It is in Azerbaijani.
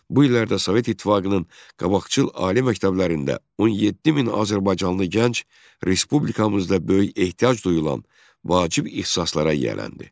bu illərdə Sovet İttifaqının qabaqcıl ali məktəblərində 17 min azərbaycanlı gənc Respublikamızda böyük ehtiyac duyulan vacib ixtisaslara yiyələndi.